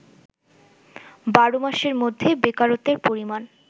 ১২ মাসের মধ্যে বেকারত্বের পরিমাণ